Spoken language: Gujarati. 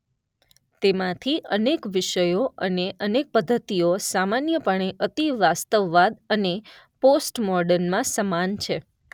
તેમાંથી અનેક વિષયો અને અનેક પદ્ધતિઓ સામાન્યપણે અતિવાસ્તવવાદ અને પોસ્ટમોડર્નમાં સમાન છે.